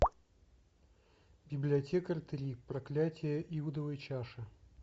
библиотекарь три проклятье иудовой чаши